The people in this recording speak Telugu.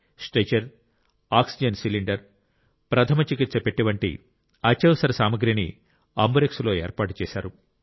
స్ట్రెచర్ ఆక్సిజన్ సిలిండర్ ప్రథమ చికిత్స పెట్టె వంటి అత్యవసర సామగ్రి ని అంబురెక్స్ లో ఏర్పాటు చేశారు